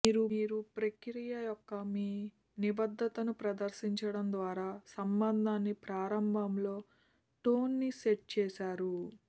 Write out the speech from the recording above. మీరు ప్రక్రియ యొక్క మీ నిబద్ధతను ప్రదర్శించడం ద్వారా సంబంధాన్ని ప్రారంభంలో టోన్ని సెట్ చేసారు